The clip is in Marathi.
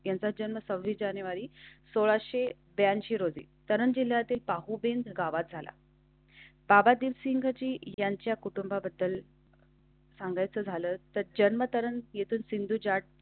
त्यांचा जन्म सहावीस जानेवारीसोळा ऐंशी रोजी चरण जिल्ह्या ते पाहून गावात झाला. बाबा दीपसिंग जी यांच्या कुटुंबाबद्दल. सांगायचं झालंतच अंतरंग येथून सिंधुजा.